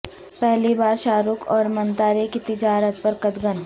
پہلی بار شارک اور منتارے کی تجارت پر قدغن